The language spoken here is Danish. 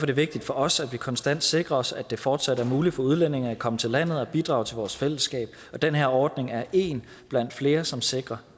det vigtigt for os at vi konstant sikrer os at det fortsat er muligt for udlændinge at komme til landet og bidrage til vores fællesskab og den her ordning er en blandt flere som sikrer